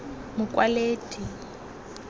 mokwaledi